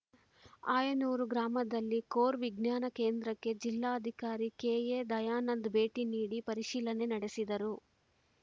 ಆಯನೂರು ಗ್ರಾಮದಲ್ಲಿ ಕೋರ್‌ ವಿಜ್ಞಾನ ಕೇಂದ್ರಕ್ಕೆ ಜಿಲ್ಲಾಧಿಕಾರಿ ಕೆ ಎ ದಯಾನಂದ ಭೇಟಿ ನೀಡಿ ಪರಿಶೀಲನೆ ನಡೆಸಿದರು